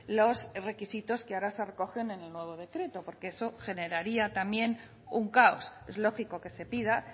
los requisitos que ahora se recogen en el nuevo decreto porque eso generaría también un caos es lógico que se pida